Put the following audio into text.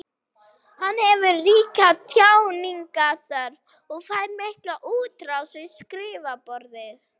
Hann hefur ríka tjáningarþörf og fær mikla útrás við skrifborðið.